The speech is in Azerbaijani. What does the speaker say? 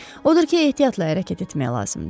Odur ki, ehtiyatla hərəkət etmək lazımdır.